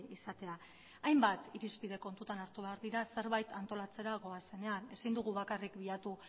izatea hainbat irizpide kontutan hartu behar dira zerbait antolatzera goazenean ezin dugu bakarrik bilatu